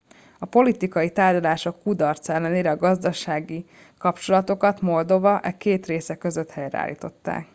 a politikai tárgyalások kudarca ellenére a gazdasági kapcsolatokat moldova e két része között helyreállították